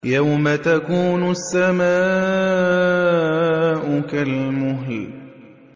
يَوْمَ تَكُونُ السَّمَاءُ كَالْمُهْلِ